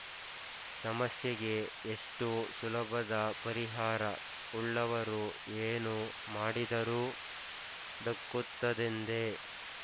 ಸಮಸ್ಯೆಗೆ ಎಷ್ಟು ಸುಲಭದ ಪರಿಹಾರ ಉಳ್ಳವರು ಏನು ಮಾಡಿದರೂ ದಕ್ಕುತ್ತದೆಂದೇ